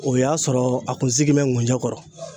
O y'a sɔrɔ a kun sigin bɛ ngunjɛ kɔrɔ.